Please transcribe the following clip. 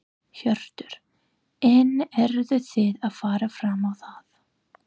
Hjörtur: En eruð þið að fara fram á það?